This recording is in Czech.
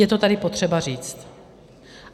Je to tady potřeba říct.